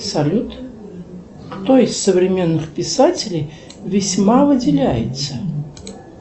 салют кто из современных писателей весьма выделяется